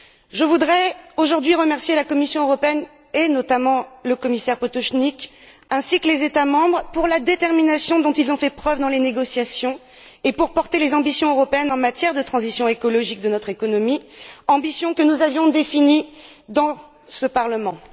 Je voudrais aujourd'hui remercier la Commission européenne et, notamment, le commissaire Potočnik, ainsi que les États membres pour la détermination dont ils ont fait preuve dans les négociations et pour porter les ambitions européennes en matière de transition écologique de notre économie, ambitions que nous avions définies dans ce Parlement.